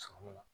Sɔrɔ la